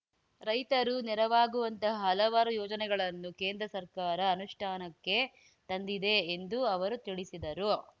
ರೈತರು ನೆರವಾಗುವಂತಹ ಹಲವಾರು ಯೋಜನೆಗಳನ್ನು ಕೇಂದ್ರ ಸರ್ಕಾರ ಅನುಷ್ಠಾನಕ್ಕೆ ತಂದಿದೆ ಎಂದು ಅವರು ತಿಳಿಸಿದರು